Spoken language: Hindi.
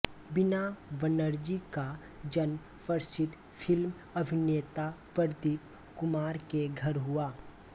बीना बनर्जी का जन्म प्रसिद्ध फ़िल्म अभिनेता प्रदीप कुमार के घर हुआ